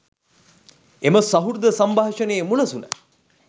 එම සහෘද සම්භාෂණයේ මුලසුන